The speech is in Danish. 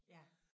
Ja